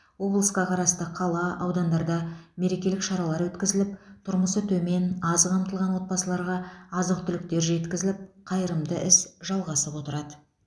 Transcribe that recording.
облысқа қарасты қала аудандарда да мерекелік шаралар өткізіліп тұрмысы төмен аз қамтылған отбасыларға азық түліктер жеткізіліп қайырымды іс жалғасып отырады